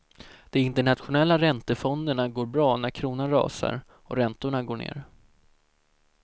De internationella räntefonderna går bra när kronan rasar och räntorna går ner.